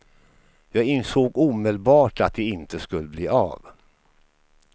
Jag insåg omedelbart att det inte skulle bli av.